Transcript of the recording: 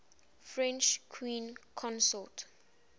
french queens consort